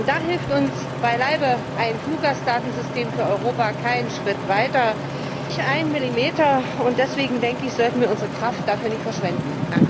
Da hilft uns beileibe ein Fluggastdatensystem für Europa keinen Schritt weiter, nicht einen Millimeter, und deswegen sollten wir unsere Kraft dafür nicht verschwenden.